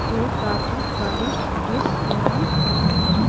हेय काफी स्वादिष्ट डिश लगी हुई है।